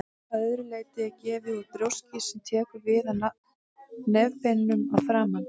Að öðru leyti er nefið úr brjóski sem tekur við af nefbeinunum að framan.